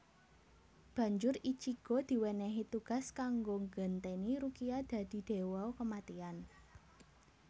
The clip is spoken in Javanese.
Banjur Ichigo diwenehi tugas kanggo nggenteni Rukia dadi dewa kematian